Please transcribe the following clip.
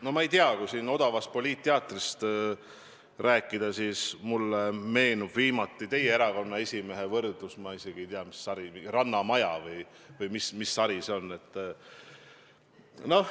No ma ei tea, kui siin odavast poliitteatrist rääkida, siis mulle meenub viimasest ajast teie erakonna esimehe tehtud võrdlus "Rannamajaga" – ma isegi ei tea, mis sari see on.